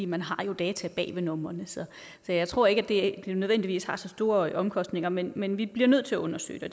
man har jo data bag ved numrene så jeg tror ikke at det nødvendigvis har så store omkostninger men men vi bliver nødt til at undersøge det